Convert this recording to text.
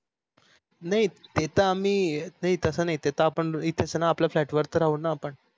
नाही ते तर आम्ही तस नाही तस आपण इथेच येऊ ना आपल्या flat वरती राहून न आपण